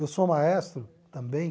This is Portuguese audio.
Eu sou maestro também.